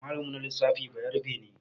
Malamin mu na lissafi bayarabe ne